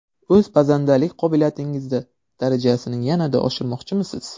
O‘z pazandalik qobiliyatingizni darajasini yanada oshirmoqchimisiz?